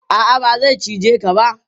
A'a, ba zai cije ka ba.